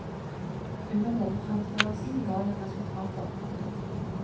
Under denne fremførelsen ga den resultater. punktum